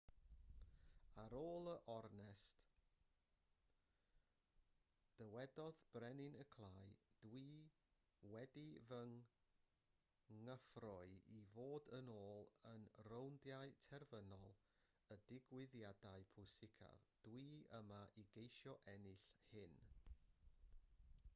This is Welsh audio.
ar ôl yr ornest dywedodd brenin y clai dw i wedi fy ngyffroi i fod yn ôl yn rowndiau terfynol y digwyddiadau pwysicaf dw i yma i geisio ennill hyn